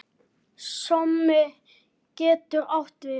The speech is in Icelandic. Sómi getur átt við